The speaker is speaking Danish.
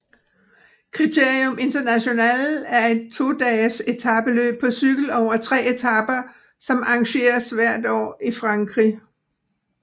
Critérium International er et todages etapeløb på cykel over tre etaper som arrangeres hvert forår i Frankrig